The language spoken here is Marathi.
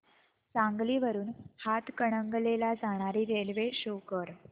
सांगली वरून हातकणंगले ला जाणारी ट्रेन शो कर